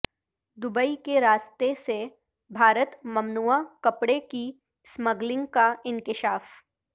Dubai کے راستے سے بھارت ممنوعہ کپڑے کی اسمگلنگ کا انکشاف